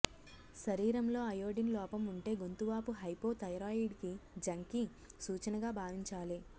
శరీరంలో అయొడిన్ లోపం ఉంటే గొంతు వాపు హైపో థైరాయిడిజంకి సూచనగా భావించాలి